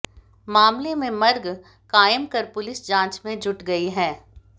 मामले में मर्ग कायम कर पुलिस जांच में जुट गई है